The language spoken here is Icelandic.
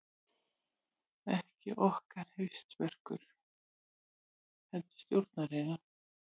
Ekki okkar hausverkur heldur stjórnarinnar